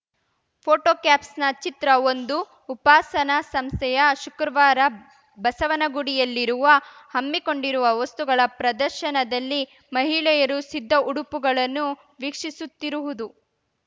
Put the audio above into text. photo caption ಚಿತ್ರಒಂದು ಉಪಾಸನ ಸಂಸ್ಥೆಯ ಶುಕ್ರವಾರ ಬಸವನಗುಡಿಯಲ್ಲಿರುವ ಹಮ್ಮಿಕೊಂಡಿರುವ ವಸ್ತುಗಳ ಪ್ರದರ್ಶನದಲ್ಲಿ ಮಹಿಳೆಯರು ಸಿದ್ಧ ಉಡುಪುಗಳನ್ನು ವೀಕ್ಷಿಸುತ್ತಿರುವುದು